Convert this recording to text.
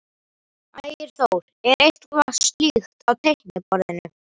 Ægir Þór: Er eitthvað slíkt á teikniborðinu?